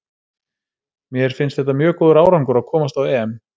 Mér finnst þetta mjög góður árangur að komast á EM.